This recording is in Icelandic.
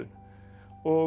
og